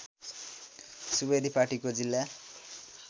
सुवेदी पार्टीको जिल्ला